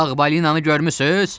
Ağ balinanı görmüsüz?